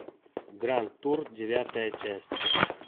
гранд тур девятая часть